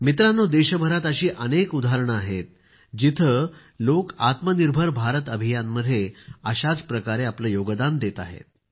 मित्रांनो देशभरात अशी अनेक उदाहरणे आहेत जिथे लोक आत्मनिर्भर भारत अभियान मध्ये अशाच प्रकारे आपले योगदान देत आहेत